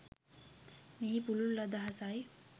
මෙහි පුළුල් අදහසයි.